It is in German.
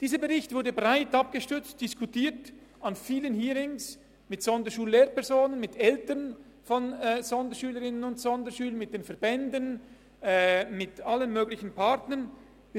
Dieser Bericht wurde breit abgestützt und an vielen Hearings mit Sonderschullehrpersonen, mit Eltern von Sonderschülerinnen und Sonderschülern, mit den Verbänden, mit allen möglichen Partnern diskutiert.